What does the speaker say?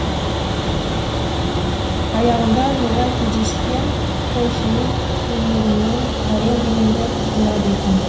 аяғында жолай кездескен қойшының көмегімен әрең дегенде құтылады екен